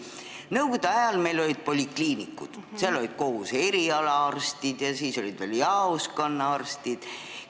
Nõukogude ajal meil olid polikliinikud, seal olid koos eriaalaarstid ja siis olid veel jaoskonnaarstid.